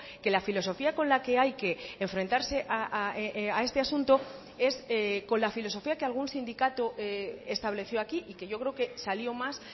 que la filosofía con la que hay que enfrentarse a este asunto es con la filosofía que algún sindicato estableció aquí y que yo creo que salió más